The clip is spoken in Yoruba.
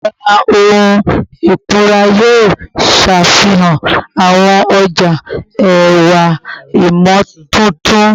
Abala ohun ikunra yoo ṣafihan awọn ọja ẹwa imotuntun